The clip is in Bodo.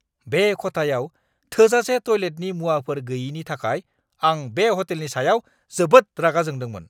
बे खथायाव थोजासे टयलेटनि मुवाफोर गैयिनि थाखाय आं बे ह'टेलनि सायाव जोबोद रागा जोंदोंमोन।